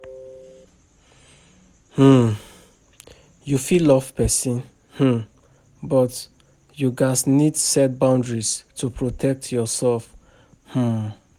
um You fit love pesin, um but you gats need set boundaries to protect yourself um.